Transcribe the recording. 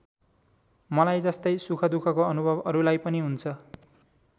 मलाई जस्तै सुखदुःखको अनुभव अरूलाई पनि हुन्छ।